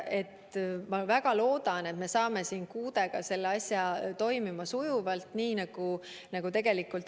Ma väga loodan, et me saame mõne kuuga selle asja sujuvalt toimuma.